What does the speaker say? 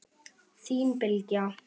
Þín Bylgja.